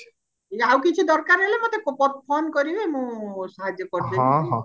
ଆଉ କିଛି ଦରକାର ହେଲେ ମତେ phone କରିବେ ମୁଁ ସାହାଯ୍ୟ କରିଦେବି ଆଉ